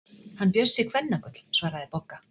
Hann Bjössi kvennagull, svaraði Bogga.